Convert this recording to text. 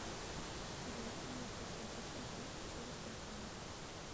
джой где можно оплатить услуги через банкомат